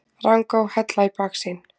Rangá, Hella í baksýn.